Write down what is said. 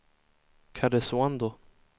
Karesuando